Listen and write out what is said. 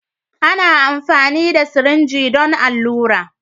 Ana amfani da sirinji don allura.